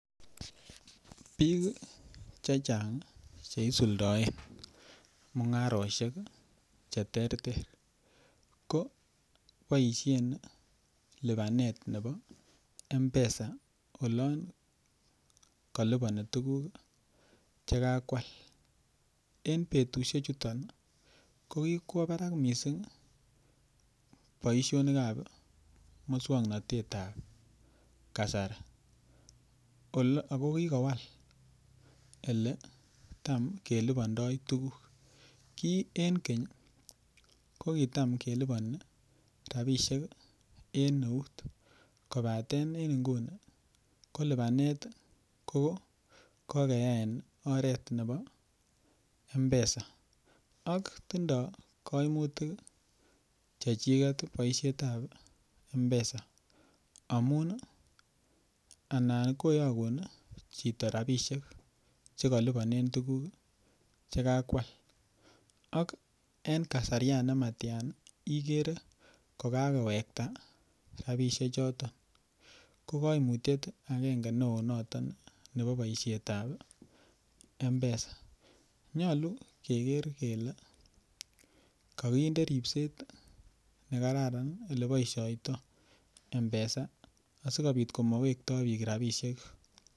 Biik chechang' cheisuldoen mung'arosiek cheterter ko koboisien lipanet nebo Mpesa olon koliponi tuguk chekakwal . En betusiechuton ii kokikwo barak missing' boisionikab muswoknotetab kasari ako kikowal iletam kelipondo tuguk. Ki en keny kokitam keliponi rabisiek en eut kobaten en nguni ko kokeyai en oret nebo Mpesa. Ak tindo koimutik chechiket boisietab Mpesa amun ii anan koyogun chito rabisiek chekoliponen tuguk chekakwal ak kasarian kiten ikere kokakowekta rabisiechoton, kokoimutiet neo noton nebo boisietab Mpesa. Nyolu keker kele kokinde ripset nekararan ileboisiotoo Mpesa asikobit komowekto biik rabisiek.